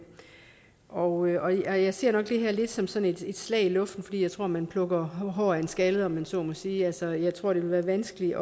og jeg ser nok det her lidt som sådan et slag i luften for jeg tror man plukker hår af en skaldet om man så må sige altså jeg tror det vil være vanskeligt